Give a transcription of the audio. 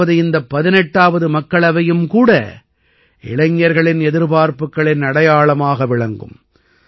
அதாவது இந்த 18ஆவது மக்களவையும் கூட இளைஞர்களின் எதிர்பார்ப்புக்களின் அடையாளமாக விளங்கும்